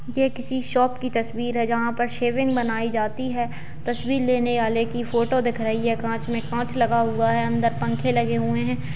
ये किसी शॉप की तस्वीर है जहां पर सैविंग बनाई जाती है तस्वीर लेने वाले की फोटो दिख रही है कांच में कांच लगा हुआ है अंदर पंखे लगे हुए हैं।